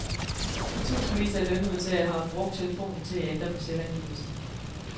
Tusindvis af lønmodtagere har brugt telefonen til at ændre på selvangivelsen.